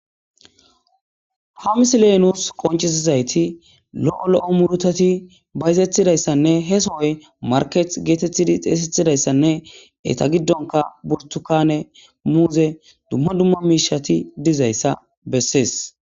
Ha missile nus qonc'isizayti lo'o lo'o murutati bayzetidaysanne he sohoy marketi getetidi xesetidaysanne eta gidanka burtukane,muze duma duma mishati dizaysa beses.